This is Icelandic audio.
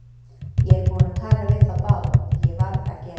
Ég er búinn að tala við þá báða, því ég varð að gera það.